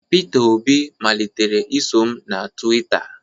Pita Obi malitere iso m na Twitta.